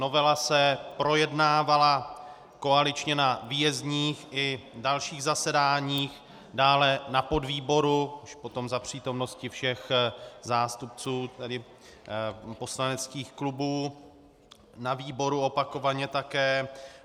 Novela se projednávala koaličně na výjezdních i dalších zasedáních, dále na podvýboru už potom za přítomnosti všech zástupců poslaneckých klubů, na výboru opakovaně také.